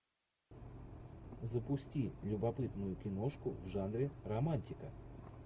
запусти любопытную киношку в жанре романтика